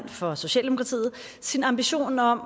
for socialdemokratiet sin ambition om